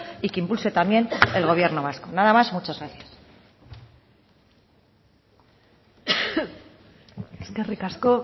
y que impulse también el gobierno vasco nada más muchas gracias eskerrik asko